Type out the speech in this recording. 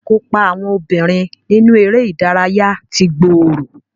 Ìkópa àwọn obìnrin nínú eré ìdárayá ti gbòòrò